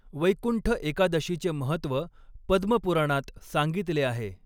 वैकुंठ एकादशीचे महत्त्व पद्मपुराणात सांगितले आहे.